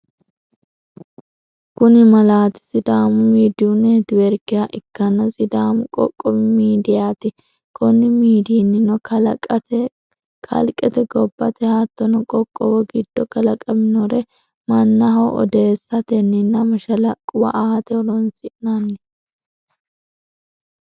Kuni malaati sidaamu midiyu networkeha ikkanna sidamu qoqqowi midiyati. Konni midiyinnino kalqete ,gobbate hattono qoqqowu giddo kalaqaminnore mannaho odeessatenninna mashalaqquwa aate horonsi'nanni.